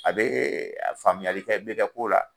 A be faamuyali kɛ be kɛ ko la.